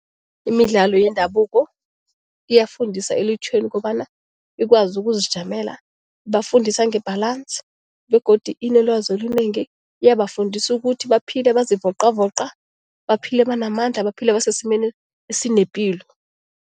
Imidlalo yendabuko iyafundisa elutjheni ukobana ikwazi ukuzijamela. Ibafundisa nge-balance begodu inelwazi olunengi. Iyabafundisa ukuthi baphile bazivoqavoqa, baphile banamandla, baphile basesimeni esinepilo.